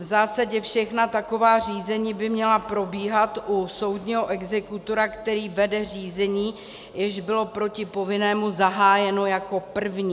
V zásadě všechna taková řízení by měla probíhat u soudního exekutora, který vede řízení, jež bylo proti povinnému zahájeno jako první.